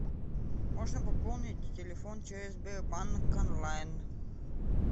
можно пополнить телефон через сбербанк онлайн